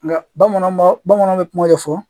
Nga bamananw b'a bamananw bɛ kuma dɔ fɔ